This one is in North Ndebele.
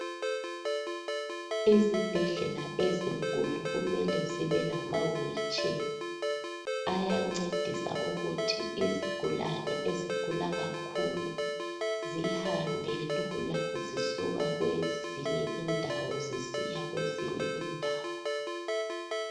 Izibhedlela ezinkulu kumele zibe lamawheelchair ayancedisa ukuthi izigulane ezigula kakhulu zihambe lula zisuka kwezinye indawo zisiya kwezinye indawo.